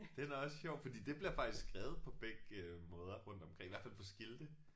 Den er også sjov fordi det bliver faktisk skrevet på begge måder rundt omkring i hvert fald på skilte